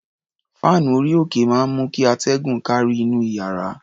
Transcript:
Fáànù orí-òkè máa ń mú kí atẹ́gùn kárí inú iyàrá.